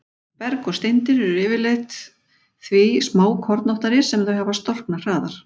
Berg og steindir eru yfirleitt því smákornóttari sem þau hafa storknað hraðar.